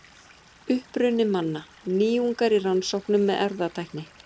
Uppruni manna: Nýjungar í rannsóknum með erfðatækni.